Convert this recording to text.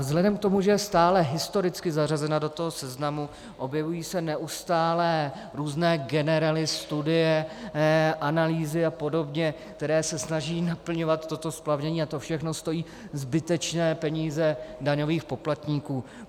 Vzhledem k tomu, že je stále historicky zařazena do toho seznamu, objevují se neustále různé generely, studie, analýzy a podobně, které se snaží naplňovat toto splavnění, a to všechno stojí zbytečné peníze daňových poplatníků.